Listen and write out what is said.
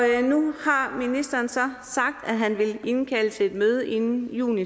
nu har ministeren så sagt at han vil indkalde til et møde inden juni